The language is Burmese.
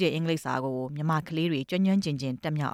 တဲ့ အင်္ဂလိပ်စာကို မြန်မာကလေးတွေ ကျွမ်းကျွမ်းကျင်ကျင် တတ်မြောက်